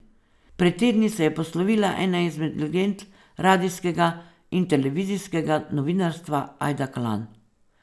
Pred tedni se je poslovila ena izmed legend radijskega in televizijskega novinarstva Ajda Kalan.